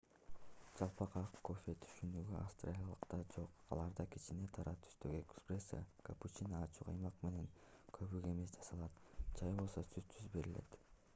"жалпак ак кофе түшүнүгү австралиялыктарда жок. аларда кичине кара түстөгү эспрессо капучино ачуу каймак менен көбүк эмес жасалат чай болсо сүтсүз берилет